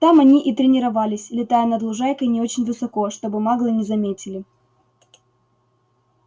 там они и тренировались летая над лужайкой не очень высоко чтобы маглы не заметили